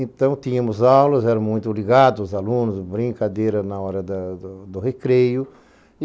Então, tínhamos aulas, era muito ligado, os alunos, brincadeira na hora da do do recreio.